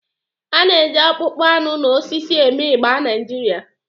A na-eji akpụkpọ anụ na osisi eme igba Naijiria.